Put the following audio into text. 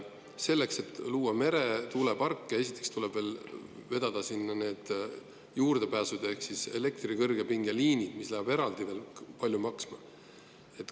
Selleks, et luua meretuuleparke, tuleb esiteks vedada sinna need juurdepääsud ehk elektrikõrgepingeliinid, mis lähevad veel eraldi palju maksma.